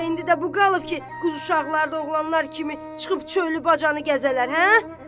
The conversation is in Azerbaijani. Yoxsa indi də bu qalıb ki, qız uşaqlar da oğlanlar kimi çıxıb çölü-bacanı gəzələr, hə?